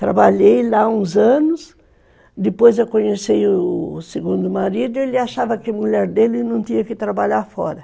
Trabalhei lá uns anos, depois eu conheci o segundo marido, ele achava que a mulher dele não tinha que trabalhar fora.